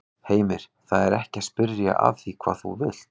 Heimir: Það er ekki að spyrja að því hvað þú vilt?